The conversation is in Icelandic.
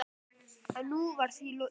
En nú var því líka lokið.